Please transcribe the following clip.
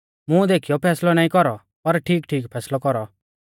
मूंह देखीयौ फैसलौ नाईं कौरौ पर ठीकठीक फैसलौ कौरौ